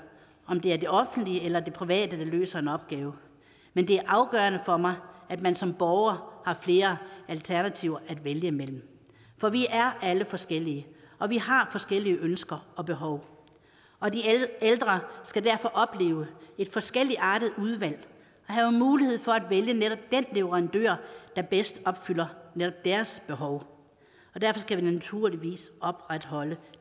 om det er det offentlige eller det private der løser en opgave men det er afgørende for mig at man som borger har flere alternativer at vælge imellem for vi er alle forskellige og vi har forskellige ønsker og behov og de ældre skal derfor opleve et forskelligartet udvalg og have mulighed for at vælge netop den leverandør der bedst opfylder netop deres behov derfor skal vi naturligvis opretholde